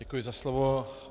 Děkuji za slovo.